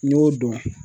N y'o dɔn